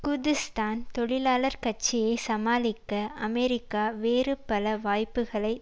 Kurdistan தொழிலாளர் கட்சியை சமாளிக்க அமெரிக்கா வேறு பல வாய்ப்புகளை